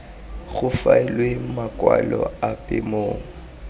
go faelwe makwalo ape mo